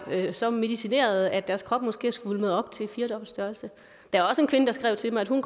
så medicinerede at deres krop måske er svulmet op til firdobbelt størrelse der er også en kvinde der skrev til mig at hun